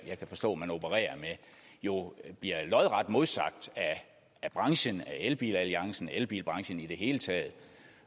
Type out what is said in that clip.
jeg kan forstå man opererer med jo bliver lodret modsagt af branchen af elbilalliancen af elbilbranchen i det hele taget